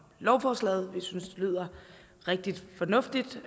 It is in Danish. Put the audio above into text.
lovforslaget vi synes det lyder rigtig fornuftigt